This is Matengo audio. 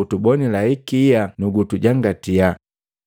utubonila ikia nukutujangatii!”